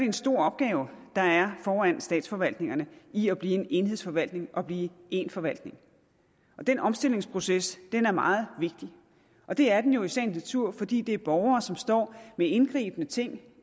en stor opgave der er foran statsforvaltningerne i at blive en enhedsforvaltning og blive en forvaltning den omstillingsproces er meget vigtig og det er den jo i sagens natur fordi det handler om borgere som står med indgribende ting